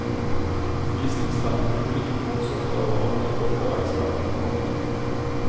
Visningsfelt med ulike kornsorter og andre åkervekster. punktum